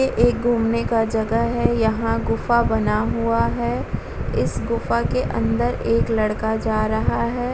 ये एक घूमने का जगह है यहाँ गुफा बना हुआ है इस गुफा के अंदर एक लड़का जा रहा है।